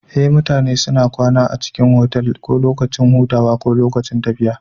Ee mutane suna kwana a otal ko dai lokacin tafiya ko lokacin hutu